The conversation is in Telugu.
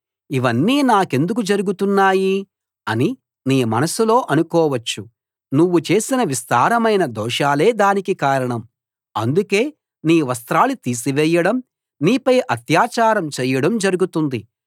ఇవన్నీ నాకెందుకు జరుగుతున్నాయి అని నీ మనస్సులో అనుకోవచ్చు నువ్వు చేసిన విస్తారమైన దోషాలే దానికి కారణం అందుకే నీ వస్త్రాలు తీసివేయడం నీపై అత్యాచారం చేయడం జరుగుతుంది